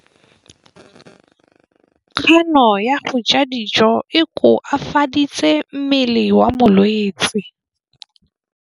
Kganô ya go ja dijo e koafaditse mmele wa molwetse.